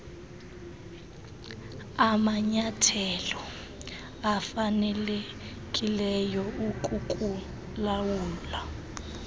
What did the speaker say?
amanyathelo afanelekileyo okukulawula